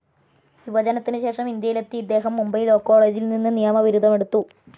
വിഭജനത്തിനുശേഷം ഇന്ത്യയിലെത്തിയ ഇദ്ദേഹം മുംബൈ ലാവ്‌ കോളേജിൽനിന്ന്‌ നിയമബിരുദമെടുത്തു.